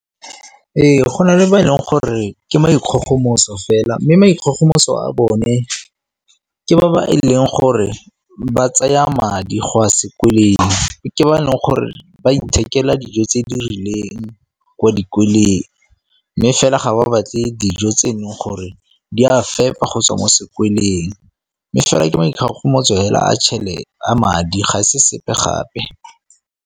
Ee, go na le ba e leng gore ke maikgogomoso fela mme maikgogomoso a bone ke ba ba e leng gore ba tsaya madi go ya sekweleng, ke ba e leng gore ba ithekela dijo tse di rileng kwa dikoleng mme fela ga ba batle dijo tse e leng gore di a fepa kgotsa mo sekweleng. Mme fela ke maikgogomoso mo hela a madi ga se sepe gape.